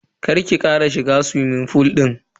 Kar ki kara shiga suwimin fool din.